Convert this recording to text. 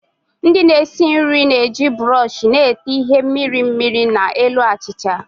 Ndị na-esi nri na-eji buroshi na-ete ihe mmiri mmiri na elu achịcha